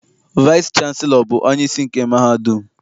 Vaịsị chanselọ bụ onyeisi nke mahadum.